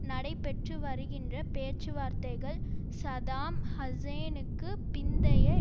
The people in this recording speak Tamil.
நடைபெற்றுவருகின்ற பேச்சுவார்த்தைகள் சதாம் ஹூசேனுக்கு பிந்தைய